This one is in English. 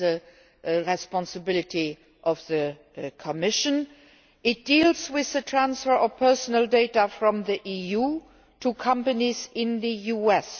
It is a responsibility of the Commission. It deals with the transfer of personal data from the EU to companies in the US.